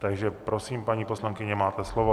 Takže prosím, paní poslankyně, máte slovo.